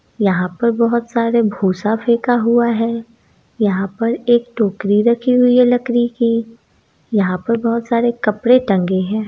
यहां पर बहुत सारा भूसा फेंका हुआ है यहां पर एक टोकरी रखी हुई है लकड़ी की यहां पर बहुत सारे कपड़े टंगे हैं।